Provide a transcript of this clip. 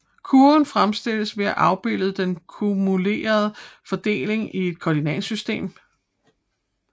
Kurven fremstilles ved at afbilde den kumulerede fordeling i et koordinatsystem